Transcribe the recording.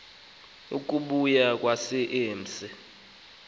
ukubuya kwakhe emse